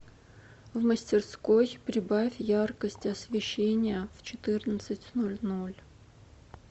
в мастерской прибавь яркость освещения в четырнадцать ноль ноль